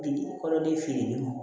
Bi kɔlɔdiliw